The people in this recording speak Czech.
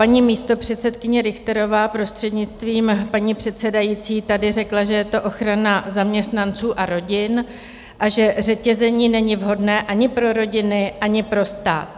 Paní místopředsedkyně Richterová, prostřednictvím paní předsedající, tady řekla, že to je ochrana zaměstnanců a rodin a že řetězení není vhodné ani pro rodiny, ani pro stát.